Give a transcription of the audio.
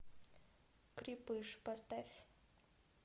крепыш поставь